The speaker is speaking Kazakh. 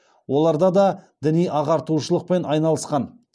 оларда да діни ағартушылықпен айналысқан